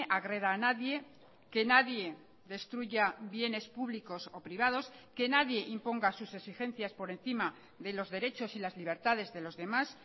agreda a nadie que nadie destruya bienes públicos o privados que nadie imponga sus exigencias por encima de los derechos y las libertades de los demás